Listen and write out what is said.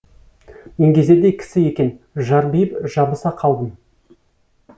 еңгезердей кісі екен жарбиып жабыса қалдым